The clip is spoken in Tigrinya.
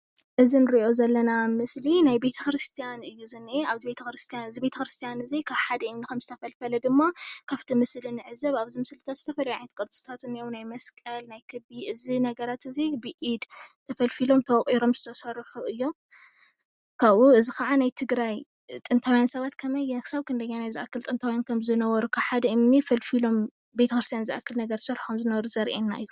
እዚ ንሪኦ ዘለና ምስሊ ናይ ቤተ ክርስትያን እዩ ዝንሄ. ኣብዚ ቤተክርስያን እዚ ካብ ሓደ እምኒ ከምዝተፈልፈል ድማ ካብቲ ምስሊ ንዕዘብ. ኣብዚ ምስሊ ዝተፈልዩ ዓይነት ቅርፂ እንሄዉ ናይ መስቀል ናይ ክቢ እዚ ነገራት እዚ ብኢድ ተፈልፊሎም ተወቂሮም ዝተሰርሑ እዮም:: ካብኡ እዚ ከዓኒ ናይ ትግራይ ጥንታዉያን ሰባት እስካብ ክንደየናይ ጥንታዉያን ከምዝነበሩ ካብ ሓደ እምኒ ፈልፊሎም ቤተክርስያን ዝኣክል ነገር ዝሰሑ ከምዝነበሩ ዘሪአና እዩ::